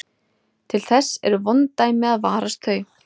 Til þess eru vond dæmi að varast þau.